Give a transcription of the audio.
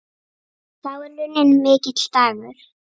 Þá er runninn mikill dagur.